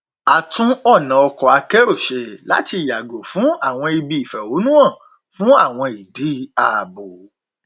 a tún ọnà ọkọ akérò ṣe láti yàgò fún àwọn ibi ìfẹhónúhàn fún àwọn ìdí ààbò